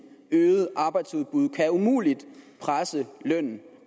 øget arbejdsudbud og kan umuligt presse lønnen